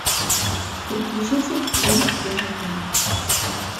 переключите на первый канал